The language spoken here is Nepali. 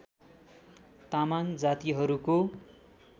तामाङ जातिहरूको